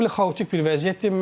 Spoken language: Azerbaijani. Çox belə xaotik bir vəziyyətdir.